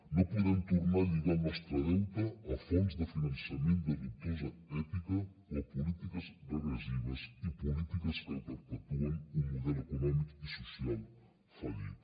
no podem tornar a lligar el nostre deute a fonts de finançament de dubtosa ètica o a polítiques regressives i polítiques que perpetuen un model econòmic i social fallit